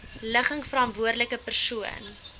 ligging verantwoordelike persoon